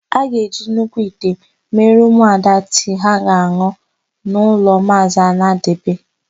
A ga-eji nnukwu ite mere ụmụada tii ha ga-an̄ụ n'ụlọ Maazị Anadebe.